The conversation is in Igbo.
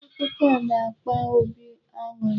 Akụkọ na-akpa obi aṅụrị.